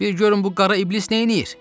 Bir görün bu qara iblis neyləyir!